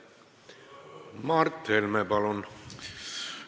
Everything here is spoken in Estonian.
Mart Helme, palun!